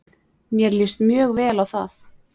Mér líst mjög vel á það.